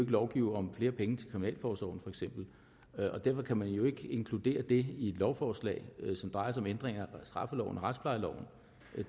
lovgive om flere penge til kriminalforsorgen for eksempel og derfor kan man jo ikke inkludere det i et lovforslag som drejer sig om ændringer af straffeloven og retsplejeloven